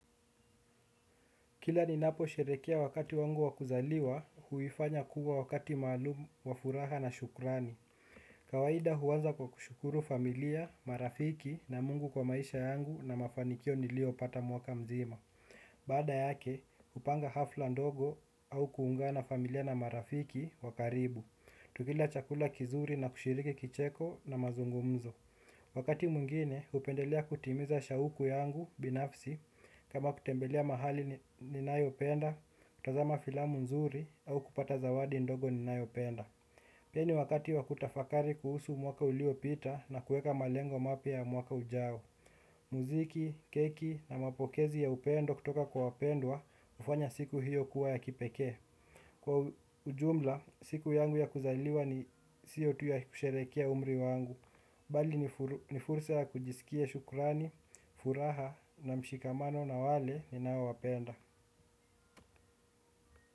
Kila ninaposherehekea wakati wangu wa kuzaliwa, huifanya kuwa wakati maalum, wa furaha na shukrani. Kawaida huanza kwa kushukuru familia, marafiki na Mungu kwa maisha yangu na mafanikio niliopata mwaka mzima. Baada yake, hupanga hafla ndogo au kuungana na familia na marafiki wa karibu. Tukila chakula kizuri na kushiriki kicheko na mazungumzo. Wakati mwingine, hupendelea kutimiza shauku yangu binafsi kama kutembelea mahali ninayopenda, kutazama filamu nzuri au kupata zawadi ndogo ninayopenda. Pia ni wakati wa kutafakari kuhusu mwaka uliopita na kuweka malengo mapya ya mwaka ujao. Muziki, keki na mapokezi ya upendo kutoka kwa wapendwa hufanya siku hiyo kuwa ya kipekee. Kwa ujumla, siku yangu ya kuzaliwa ni siyo tu ya kusherehekea umri wangu. Bali ni fursa ya kujisikia shukrani, furaha na mshikamano na wale ninaowapenda.